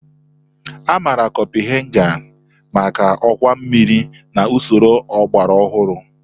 Amaara Kopuhaghen maka ọwa mmiri na usoro ọgbara ọhụrụ.